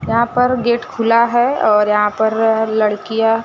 यहां पर गेट खुला है और यहां पर लड़कियां--